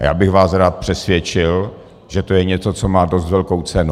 A já bych vás rád přesvědčil, že to je něco, co má dost velkou cenu.